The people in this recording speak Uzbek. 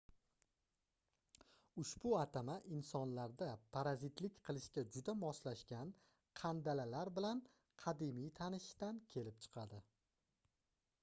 ushbu atama insonlarda parazitlik qilishga juda moslashgan qandalalar bilan qadimiy tanishishdan kelib chiqadi